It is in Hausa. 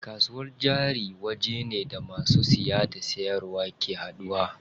Kasuwar jari wajene da masu siya da siyarwa ke haduwa.